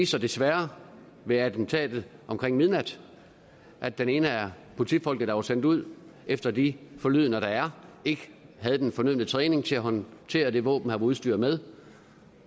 sig desværre ved attentatet omkring midnat at den ene af politifolkene der var sendt ud efter de forlydender der er ikke havde den fornødne træning til at håndtere det våben han var udstyret med